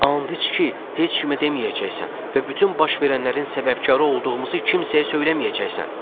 And iç ki, heç kimə deməyəcəksən və bütün baş verənlərin səbəbkarı olduğumuzu kimsəyə söyləməyəcəksən.